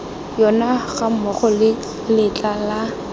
yona gammogo le letla la